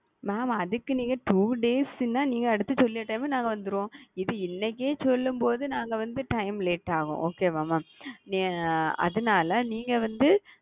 mam அதுக்கு வந்து நீங்க two days னா நீங்க சொன்ன டைம்ல நாங்க வந்துருவோம் இது இன்னிக்கே சொல்லும் பொது நாங்க வந்து time late ஆகும் okay வா mam அதுனால நீங்க வந்து,